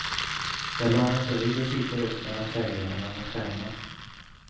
Jag lade mig på rygg och kikade upp mellan trädgrenarna mot stjärnorna.